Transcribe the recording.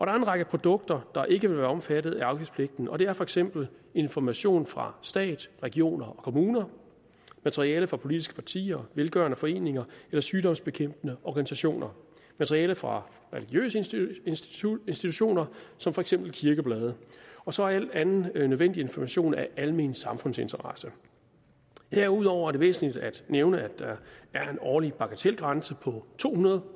er en række produkter der ikke vil være omfattet af afgiftspligten og det er for eksempel information fra stat regioner og kommuner materiale fra politiske partier velgørende foreninger eller sygdomsbekæmpende organisationer materiale fra religiøse institutioner institutioner som for eksempel kirkeblade og så al anden nødvendig information af almen samfundsinteresse herudover er det væsentligt at nævne at der er en årlig bagatelgrænse på to hundrede